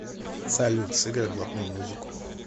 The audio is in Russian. салют сыграй блатную музыку